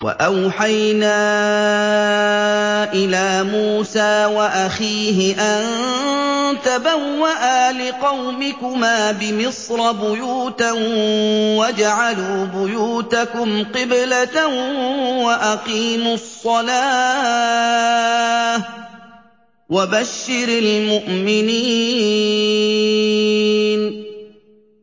وَأَوْحَيْنَا إِلَىٰ مُوسَىٰ وَأَخِيهِ أَن تَبَوَّآ لِقَوْمِكُمَا بِمِصْرَ بُيُوتًا وَاجْعَلُوا بُيُوتَكُمْ قِبْلَةً وَأَقِيمُوا الصَّلَاةَ ۗ وَبَشِّرِ الْمُؤْمِنِينَ